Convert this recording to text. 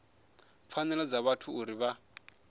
pfanelo dza vhathu uri vha